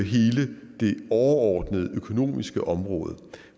overordnede økonomiske område